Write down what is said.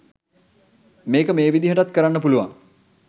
මේක මේ විදිහටත් කරන්න පුළුවන්